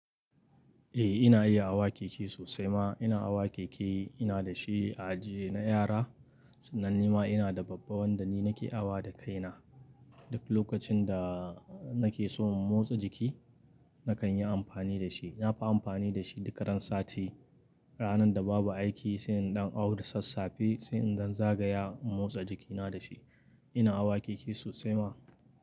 Eh ina iya awa keke sosai ma. Ina awa keke, ina da shi a aji na yara sannan ni ma ina da babban wanda ni nake awa da kaina. Duk lokacin da nake so in motsa jiki nakan yi amfani da shi. Na fi amfani da shi duk ran sati, ranar da babu aiki sai in ɗan au da sassafe sai innan zagaya in motsa jikina da shi. Ina awa keke sosai ma.